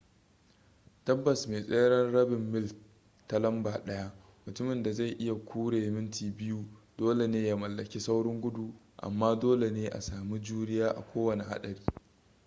tabbas mai tseren rabin mil ta lamba daya mutumin da zai iya kure minti biyu dole ne ya mallaki saurin gudu amma dole ne a sami juriya a kowane haɗari